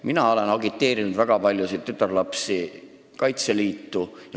Mina olen agiteerinud väga paljusid tütarlapsi Kaitseliitu astuma.